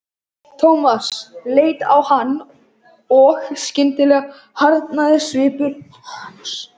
Thomas leit á hann og skyndilega harðnaði svipur hans.